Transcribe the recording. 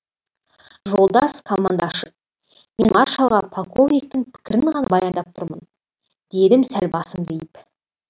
жолдас командашы мен маршалға полковниктің пікірін ғана баяндап тұрмын дедім сәл басымды иіп